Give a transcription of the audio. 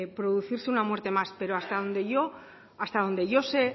producirse una muerte más pero hasta donde yo sé